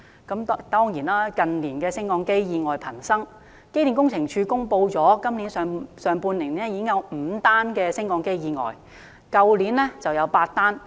近年升降機意外頻生，機電工程署公布，今年上半年已有5宗升降機意外，去年全年則有8宗。